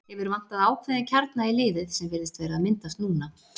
Hefur vantað ákveðinn kjarna í liðið sem virðist vera að myndast núna.